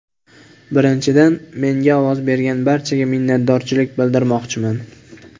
Birinchidan, menga ovoz bergan barchaga minnatdorchilik bildirmoqchiman.